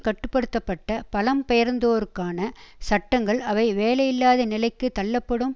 கட்டு படுத்த பட்ட பலம் பெயர்ந்தோருக்கான சட்டங்கள் அவை வேலையில்லாத நிலைக்கு தள்ளப்படும்